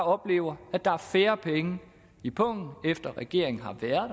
opleve at der er færre penge i pungen efter at regeringen har været